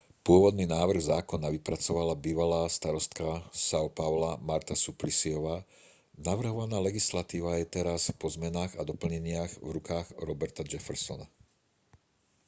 pôvodný návrh zákona vypracovala bývalá starostka são paula marta suplicyová. navrhovaná legislatíva je teraz po zmenách a doplneniach v rukách roberta jeffersona